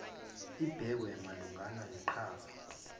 ibhekwe malungana neqhaza